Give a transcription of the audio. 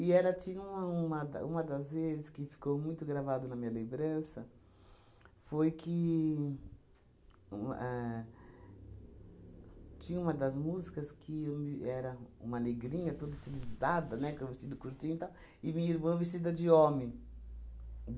E era tinha um uma da uma das vezes que ficou muito gravado na minha lembrança foi que um ahn tinha uma das músicas que o me era uma negrinha toda estilizada, né, com um vestido curtinho e tal, e minha irmã vestida de homem.